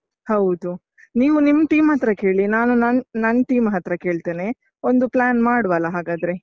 ಹೌದು, ನೀವು ನಿಮ್ team ಹತ್ರ ಕೇಳಿ, ನಾನು ನನ್ ನನ್ team ಹತ್ರ ಕೇಳ್ತೇನೆ, ಒಂದು plan ಮಾಡುವಲ್ಲ ಹಾಗಾದ್ರೆ?